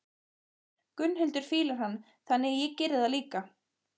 Gunnhildur fílar hann, þannig að ég geri það líka.